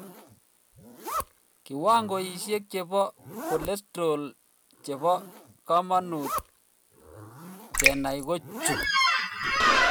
Kiwangoisiek chebo cholesterol chebo komonut kenai ko chuu